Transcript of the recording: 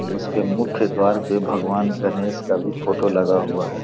उसके मुख्य द्वार पे भगवान गणेश का भी फोटो लगा हुआ है।